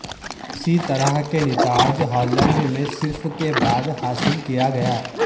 اسی طرح کے نتائج ہالینڈ میں صرف کے بعد حاصل کیا گیا